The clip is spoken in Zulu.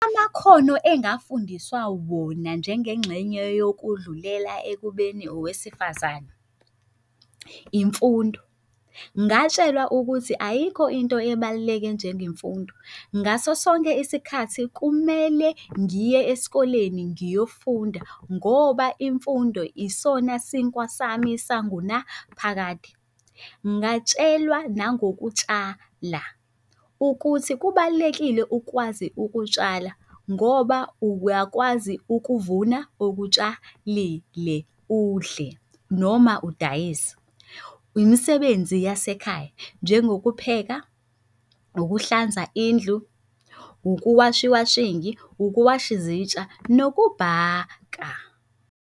Amakhono engafundiswa wona njengengxenye yokudlulela ekubeni owesifazane. Imfundo, ngatshelwa ukuthi ayikho into ebaluleke njengemfundo ngaso sonke isikhathi kumele ngiye esikoleni ngiyofunda ngoba imfundo isona sinkwa sami sangunaphakade. Ngatshelwa nangokutshala, ukuthi kubalulekile ukwazi ukutshala ngoba uyakwazi ukuvuna okutshalile udle, noma udayise. Imisebenzi yasekhaya, njengokupheka, ukuhlanza indlu, ukuwasha iwashingi, ukuwasha izitsha, nokubhaka.